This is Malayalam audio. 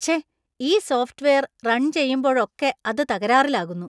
ഛെ, ഈ സോഫ്റ്റ് വെയര്‍ റൺ ചെയ്യുമ്പോഴൊക്കെ അത് തകരാറിലാകുന്നു.